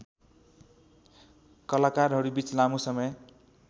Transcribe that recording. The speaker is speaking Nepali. कलाकारहरूबीच लामो समय